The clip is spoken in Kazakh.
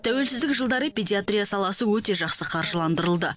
тәуелсіздік жылдары педиатрия саласы өте жақсы қаржыландырылды